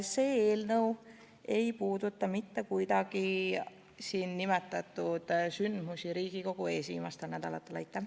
See eelnõu ei puuduta mitte kuidagi siin nimetatud sündmusi, mis Riigikogu ees viimastel nädalatel on toimunud.